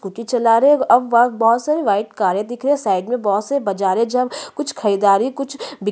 scooty चला रहे है अ बग बग बहुत सारे वाइट कारे दिख रहे साइड में बहुते बजारे उजारे कुछ ख़रीदारी कुछ बिक रहे--